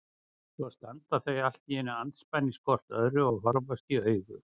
Svo standa þau allt í einu andspænis hvort öðru og horfast í augu.